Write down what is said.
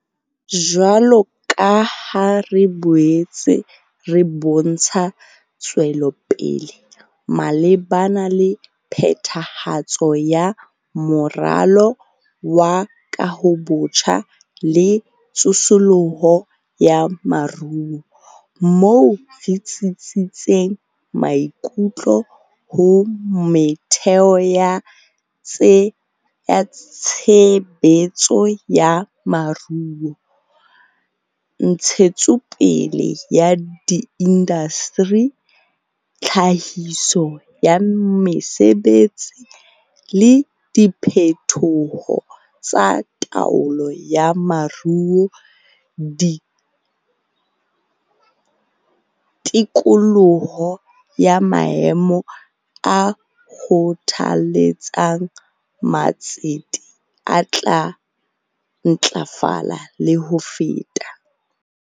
Jwalo ka ha re boetse re bontsha tswelopele malebana le phethahatso ya Moralo wa Kahobotjha le Tsosoloso ya Moruo - moo re tsitsisitseng maikutlo ho metheo ya tshe betso ya moruo, ntshetsopele ya diindasteri, tlhahiso ya mesebetsi, le diphetoho tsa taolo ya moruo - tikoloho ya maemo a kgothaletsang ma tsete e tla ntlafala le ho feta.